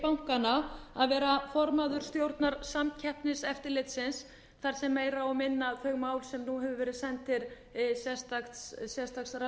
bankanna að vera formaður stjórnar samkeppniseftirlitsins þar sem meira og minna þau mál sem hafa verið send til sérstaks